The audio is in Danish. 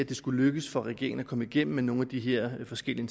det skulle lykkes for regeringen at komme igennem med nogle af de her forskellige